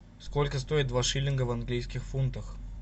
сколько стоит два шиллинга в английских фунтах